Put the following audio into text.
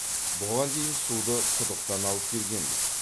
бұған дейін суды құдықтан алып келгенбіз